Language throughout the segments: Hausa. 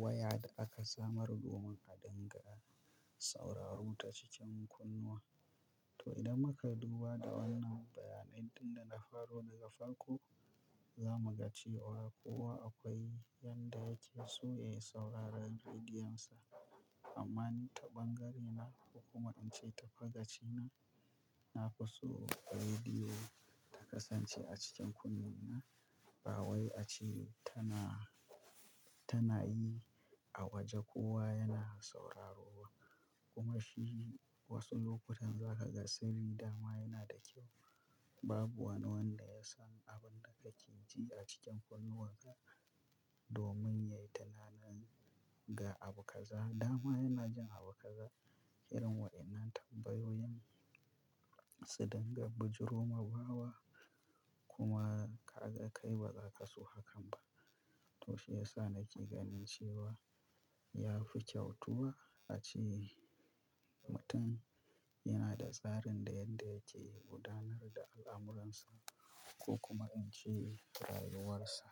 waya da aka samar domin a dinga sauraro ta cikin kunnuwa. To idan muka duba da wannan bayanai tin da na faro daga farko, za mu ga cewa kuwa akwai yanda ake so yayi sauraren rediyonsa. Amma ni ta ɓangarena ko kuma in ce ta fagacina, na fi so rediyo ta kasance a cikin kunne na. Ba wai a ce tana, tana yi a waje kowa yana sauraro ba kuma shi wasu lokutan za ka ga sarri dama yana da kyau. Babu wani wanda ya san abin da ka ke ji a cikin kunnuwan ka domin ya yi tunanin ga abu kaza dama yana jin abu kaza. Irin wa'yannan tambayoyin su dinga bijiroma wawa kuma ka ga kai ba za ka so hakan ba. To shiyasa nake gani cewa yafi kyau tuba ace mutun yana da tsarin da yanda yake gudanar da al'amuran sa ko ince rayuwar sa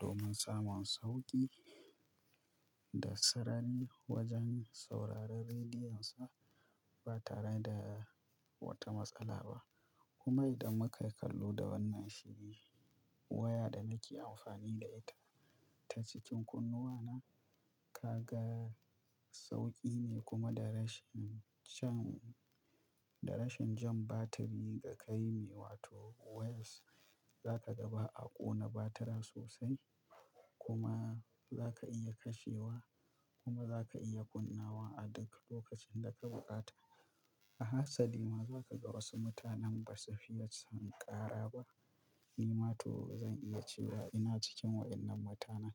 domin samin sauki. Da sarari wajen sauraren rediyonsa ba tare da wata matsala ba. Kuma idan mu kai kallo da wannan shi ne waya da nake amfani da ita ta cikin kunnuwana, ka ga sauƙi ne kuma da rashin can, da rashin jan batiri ka kai ne. Wato wires za ka ga ba a ƙona batiran sosai kuma za ka iya kashewa kuma za ka iya kunnawa a duk lokacin da ka bukata. A hasali ma za ka ga wasu mutanen ba su fiye son ƙara ba. Ni matu zan iya cewa ina cikin wa'yannan mutanen.